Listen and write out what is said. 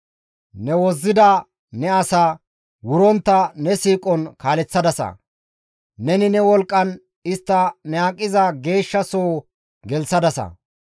«Ne wozzida ne asaa wurontta ne siiqon kaaleththadasa. Neni ne wolqqan istta ne aqiza geeshsha soo gelththadasa.